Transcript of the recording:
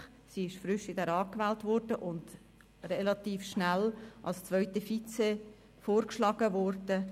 Sie wurde frisch in den Grossen Rat gewählt und wurde relativ schnell als zweite Vizepräsidentin vorgeschlagen worden.